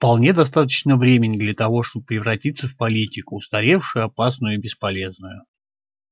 вполне достаточно времени для того чтобы превратиться в политику устаревшую опасную и бесполезную